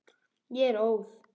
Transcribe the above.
Ég er óð.